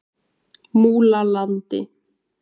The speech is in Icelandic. Múlalandi